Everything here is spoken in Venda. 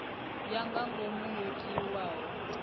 ya nga ngomu yo tiwaho